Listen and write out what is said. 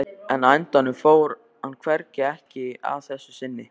En á endanum fór hann hvergi, ekki að þessu sinni.